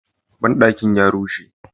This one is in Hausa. Banɗakin ya rushe.